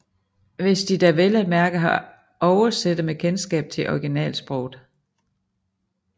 Hvis de da vel at mærke har oversættere med kendskab til originalsproget